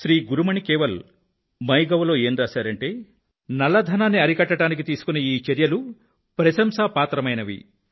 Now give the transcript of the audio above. శ్రీ గురుమణి కేవల్ MyGovలో ఏం రాశారంటే నల్లధనాన్ని అరికట్టడానికి తీసుకున్న ఈ చర్యలు ప్రశంసాపాత్రమైనవి